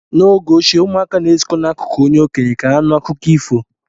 N'oge ochie, ụmụaka na-ezukọ n'akụkụ onye okenye ka ha nụ akụkọ ifo